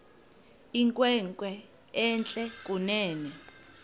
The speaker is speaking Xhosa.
inkwenkwe entle kunene